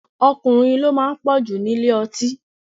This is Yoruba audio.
Ọkùnrin ni ó máa ń pọ̀ jù ní ilé ọtí